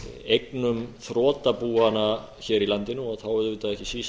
eignum þrotabúanna hér í landinu þá auðvitað ekki síst